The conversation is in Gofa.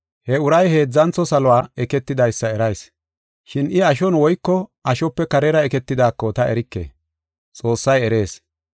He uray heedzantho saluwa eketidaysa erayis. Shin I ashon woyko ashope karera eketidaako ta erike; Xoossay erees.